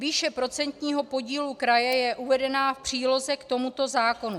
Výše procentního podílu kraje je uvedena v příloze k tomuto zákonu.